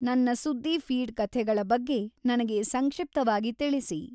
ನನ್ನ ಸುದ್ದಿ ಫೀಡ್ ಕಥೆಗಳ ಬಗ್ಗೆ ನನಗೆ ಸಂಕ್ಷಿಪ್ತವಾಗಿ ತಿಳಿಸಿ